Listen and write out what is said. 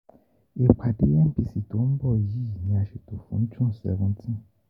Ìpàdé MPC tó ń bọ̀ yìí ni a ṣètò fún June seventeen